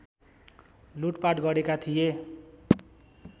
लुटपाट गरेका थिए